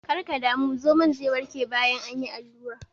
Kar ka damu, zomon ze warke bayan an yi allurar nan.